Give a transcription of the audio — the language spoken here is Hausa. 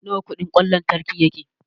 Nawa kudin kwan lantriki yake?